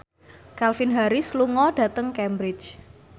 Calvin Harris lunga dhateng Cambridge